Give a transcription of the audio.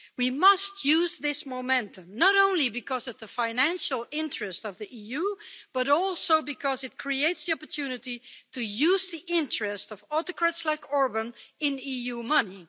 We must use this momentum not only because of the financial interests of the EU, but also because it creates the opportunity to use the interest of autocrats like Orbán in EU money.